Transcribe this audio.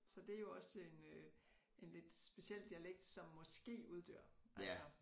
Så det jo også en øh en lidt speciel dialekt som måske uddør altså